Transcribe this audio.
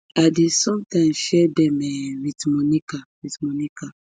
i dey sometimes share dem um wit monica wit monica